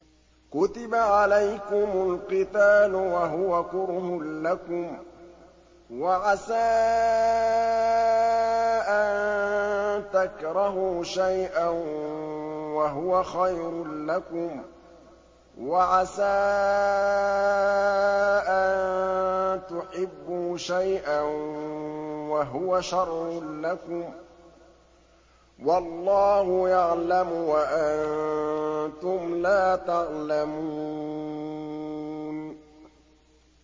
كُتِبَ عَلَيْكُمُ الْقِتَالُ وَهُوَ كُرْهٌ لَّكُمْ ۖ وَعَسَىٰ أَن تَكْرَهُوا شَيْئًا وَهُوَ خَيْرٌ لَّكُمْ ۖ وَعَسَىٰ أَن تُحِبُّوا شَيْئًا وَهُوَ شَرٌّ لَّكُمْ ۗ وَاللَّهُ يَعْلَمُ وَأَنتُمْ لَا تَعْلَمُونَ